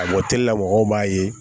A bɔteli la mɔgɔw b'a ye